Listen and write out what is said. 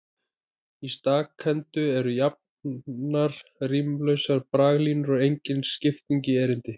Í stakhendu eru jafnar, rímlausar braglínur og engin skipting í erindi.